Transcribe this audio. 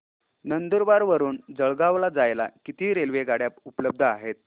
नंदुरबार वरून जळगाव ला जायला किती रेलेवगाडया उपलब्ध आहेत